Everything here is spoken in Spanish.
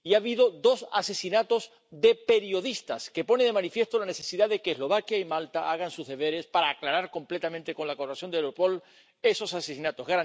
Ha habido dos asesinatos de periodistas, lo que pone de manifiesto la necesidad de que Eslovaquia y Malta hagan sus deberes para aclarar completamente, con la colaboración de Europol, esos asesinatos.